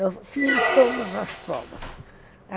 Eu tinha todas as provas.